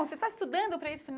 Você está estudando para isso.